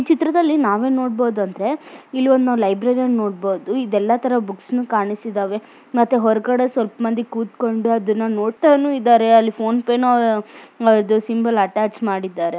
ಇಲ್ಲಿ ನಾವು ಏನು ನೋಡ್ತಾ ಇದ್ದೀರಿ ಅಂದ್ರೆ ಇಲ್ಲಿ ಹುಡುಗ ನೀರು ಕಡೆ ಎಲ್ಲಾ ಬ್ರಿಡ್ಜ್ ಮೇಲೆ ನಿಂತುಕೊಂಡು ಅಲ್ಲಿ ಫೋಟೋಸ್ ಹೇಳ್ತೀರೋದು ಅಂತ ನೋಡಬಹುದು